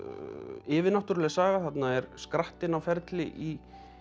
yfirnáttúruleg saga þarna er skrattinn á ferli í